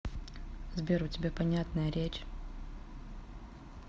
сбер у тебя понятная речь